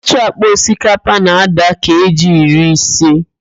Otu ákpá osikapa na-ádà keeji iri ise